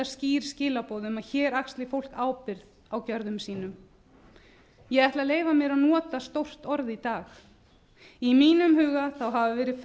skýr skilaboð um að hér axli fólk ábyrgð á gerðum sínum ég ætla að leyfa mér að nota stórt orð í dag í mínum huga hafa verið